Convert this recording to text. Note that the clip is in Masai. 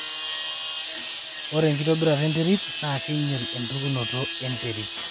ore enkitobirata enterit naa keing'iel empikunoto e nterit